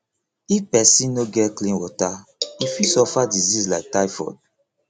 if pesin no get clean water e fit suffer disease like typhoid